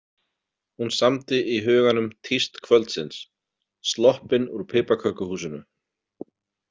Hún samdi í huganum tíst kvöldsins: Sloppin úr piparkökuhúsinu.